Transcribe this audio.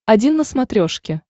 один на смотрешке